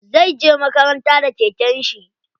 Zai je makaranta da keken shi.